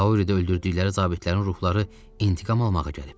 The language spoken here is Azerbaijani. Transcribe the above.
Kauridə öldürdükləri zabitlərin ruhları intiqam almağa gəlib.